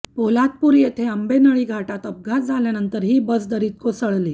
पोलादपूर येथे आंबेनळी घाटात अपघात झाल्यानंतर ही बस दरीत कोसळली